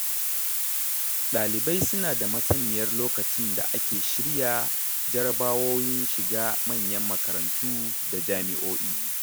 Ɗalibai sunada masaniyar lokacin da ake shirya jarrabawowin shiga manyan makarantu da jami'o'i.